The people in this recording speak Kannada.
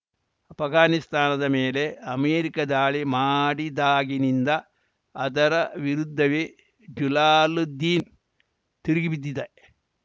ಆಷ್ಘಾನಿಸ್ತಾನದ ಮೇಲೆ ಅಮೆರಿಕ ದಾಳಿ ಮಾಡಿದಾಗಿನಿಂದ ಅದರ ವಿರುದ್ಧವೇ ಜುಲಾಲುದ್ದೀನ್‌ ತಿರುಗಿಬಿದ್ದಿದ್ದ